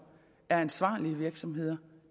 er ansvarlige virksomheder